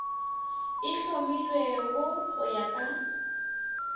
e hlomilwego go ya ka